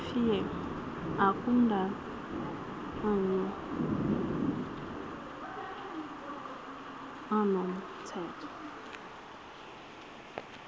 fear akudalanyana anomthetho